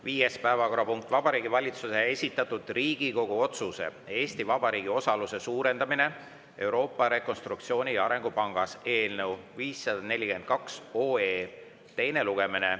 Viies päevakorrapunkt on Vabariigi Valitsuse esitatud Riigikogu otsuse "Eesti Vabariigi osaluse suurendamine Euroopa Rekonstruktsiooni- ja Arengupangas" eelnõu 542 teine lugemine.